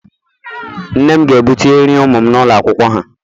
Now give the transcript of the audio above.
Nne m ga-ebute nri ụmụ m n'ụlọ akwụkwọ ha